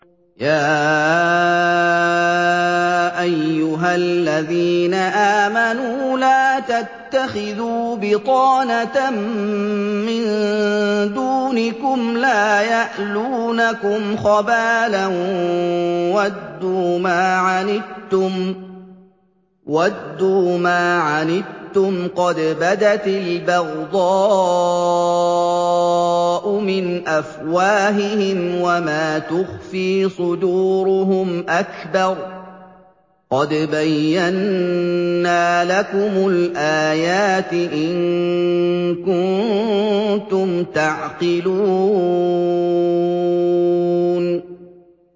يَا أَيُّهَا الَّذِينَ آمَنُوا لَا تَتَّخِذُوا بِطَانَةً مِّن دُونِكُمْ لَا يَأْلُونَكُمْ خَبَالًا وَدُّوا مَا عَنِتُّمْ قَدْ بَدَتِ الْبَغْضَاءُ مِنْ أَفْوَاهِهِمْ وَمَا تُخْفِي صُدُورُهُمْ أَكْبَرُ ۚ قَدْ بَيَّنَّا لَكُمُ الْآيَاتِ ۖ إِن كُنتُمْ تَعْقِلُونَ